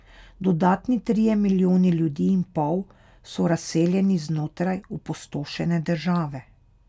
Dodatni trije milijoni ljudi in pol so razseljeni znotraj opustošene države.